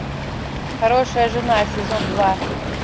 хорошая жена сезон два